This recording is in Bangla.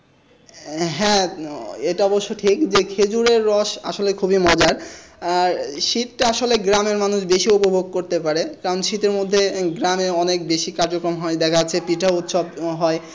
হ্যাঁ এটা অবশ্য ঠিক যে খেজুরের রস আসলে খুব মজার আহ শীতটা আসলে গ্রামের মানুষ বেশি উপভোগ করতে পারে কারণ শীতের মধ্যে এ গ্রামের অনেক বেশি কার্যক্রম হয় দেখা যাচ্ছে পিঠা উৎসব হয়।